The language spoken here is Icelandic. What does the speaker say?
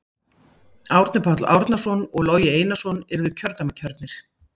Árni Páll Árnason og Logi Einarsson yrðu kjördæmakjörnir.